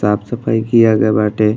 साफ़ सफ़ाई किया गए बाटे।